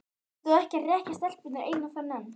Þú ert þó ekki að hrekkja stelpurnar eina ferðina enn!